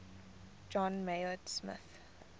john maynard smith